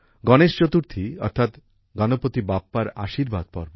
গণেশ চতুর্থী অর্থাৎ গণপতি বাপ্পার আশীর্বাদ পর্ব